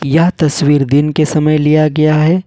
यह तस्वीर दिन के समय लिया गया है।